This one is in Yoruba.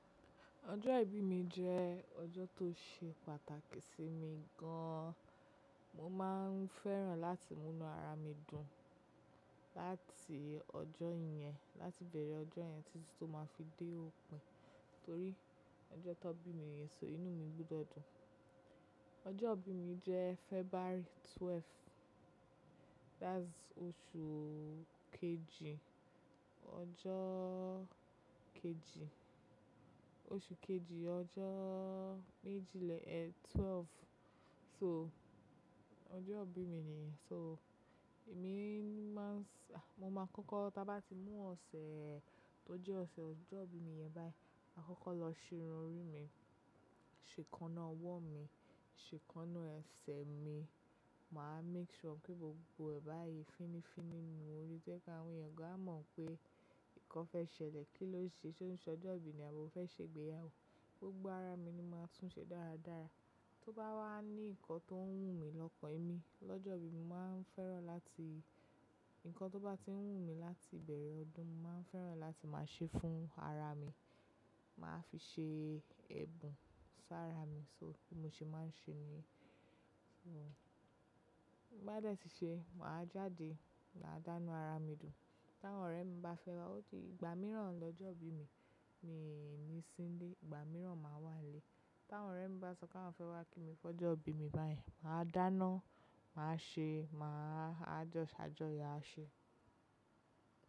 Ọjọ́ ìbí mi jẹ́ ọjọ́ tó ṣe pàtàkì sí mi gan an. Mo máa ń fẹ́ràn láti múnú ara mi dùn láti ọjọ́ yẹn, láti bẹ̀rẹ̀ ọjọ́ yẹn títí tó máa fi dé òpin, torí ọjọ́ tó bí mi yẹn so inú mi gbọdọ dùn. Ọjọ́ ìbí mi jẹ́ February ọjọ́ kejìlá, that's oṣù kejì, ọjọ́ kejì, oṣù kejì, ọjọ́ méjìlélẹ́ẹ̀ẹ́dọ́gbọ̀n. So, ọjọ́ ìbí mi nìyẹn. So, èmi máa ń s-- a, mo máa kọ́kọ́ tá bá ti mú ọ̀sẹ̀ tó jẹ́ ọ̀sẹ̀ ọjọ́ ìbí mi yẹn báyìí, ma kọ́kọ́ lọ ṣe irun orí mi, ṣe ekána ọwọ́ mi, ṣe ekáná ẹsẹ̀ mi. Mà á make sure pé gbogbo ẹ̀bà yìí fínnífínní nù ú, ó jẹ́ kí àwọn ènìyàn gọ́n a mọ̀ pé nǹkan fẹ́ ṣẹlẹ̀, kí ló ṣe? Ṣé ó ń ṣe ọjọ́ ìbí ni àbo fẹ́ ṣe ìgbéyàwó. Gbogbo ara mi ni mo máa tún ṣe dáradára. Tó bá wà ní ǹkan tó ń wù mí lọ́kàn mi lọ́jọ́ ìbí mi, mà á ń fẹ́ràn láti-- ǹkan tó bá ti ń wù mí láti bẹ̀rẹ̀ ọdún, mà á ń fẹ́ràn láti máa ṣe fún ara mi. Mà á fi ṣe ẹ̀bùn fún ara mi, so bí mo ṣe máa ń ṣe ni. So, bí mó bá dẹ̀ ti ṣe, mà á jáde mádánú ara mi dùn. Tí àwọn ọ̀rẹ́ mi bá fẹ́ wá, ó ti ìgbà mìíràn lọ́jọ́ ìbí mi mi ní sin lé, ìgbà mìíràn mà á wà nilé. Tí àwọn ọ̀rẹ́ mi bá sọ pé wọ́n fẹ́ wá kí mi fọjọ́ ìbí mi báyìí, mà á dáná, mà á ṣe, mà á jọ́ṣajọ́yó a ṣe.